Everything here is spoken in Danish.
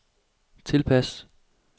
tilpas